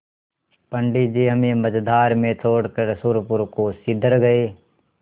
पंडित जी हमें मँझधार में छोड़कर सुरपुर को सिधर गये